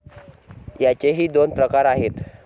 याचेही दोन प्रकार आहेत.